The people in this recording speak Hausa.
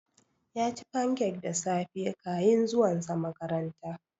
Yaci fancak da safe kayin zuwan sa makaranta